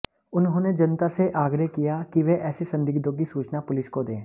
उन्होंने जनता से आग्रह किया कि वह ऐसे संदिग्धों की सूचना पुलिस को दे